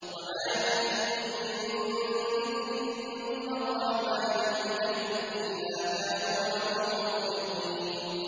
وَمَا يَأْتِيهِم مِّن ذِكْرٍ مِّنَ الرَّحْمَٰنِ مُحْدَثٍ إِلَّا كَانُوا عَنْهُ مُعْرِضِينَ